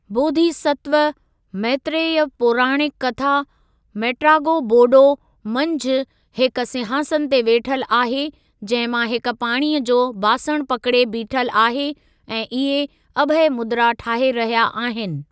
बोधिसत्व, मैत्रेय पौराणिक कथा 'मेट्रागो बौडो' मंझि, हिक सिंहासन ते वेठल आहे, जंहिं मां हिक पाणीअ जो बासणु पकड़े बीठल आहे ऐं इहे अभय मुद्रा ठाहे रहिया आहिनि।